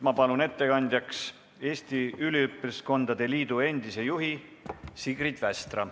Palun ettekandjaks Eesti Üliõpilaskondade Liidu endise juhi Sigrid Västra.